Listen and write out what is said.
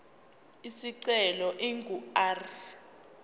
isicelo ingu r